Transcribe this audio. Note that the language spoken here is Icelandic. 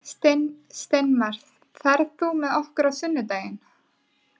Steinmar, ferð þú með okkur á sunnudaginn?